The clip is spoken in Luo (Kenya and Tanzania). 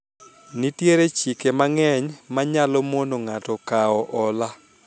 nitiere chike mang'eny manyalo mono ng'ato kawo hola